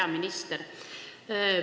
Hea minister!